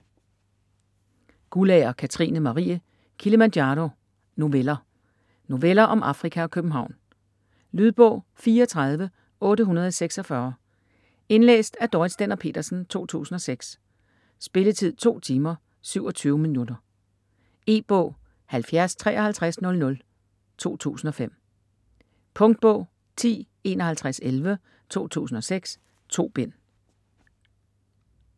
Guldager, Katrine Marie: Kilimanjaro: noveller Noveller om Afrika og København. Lydbog 34846 Indlæst af Dorrit Stender-Petersen, 2006. Spilletid: 2 timer, 27 minutter. E-bog 705300 2005. Punktbog 105111 2006. 2 bind.